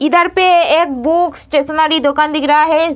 इधर पे एक बुक स्टेशनरी दुकान दिख रहा है।